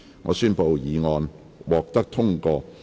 我宣布議案獲得通過。